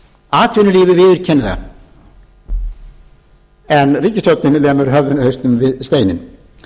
atvinnulífið viðurkennir það en ríkisstjórnin lemur hausnum við steininn